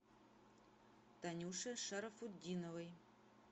танюше шарафутдиновой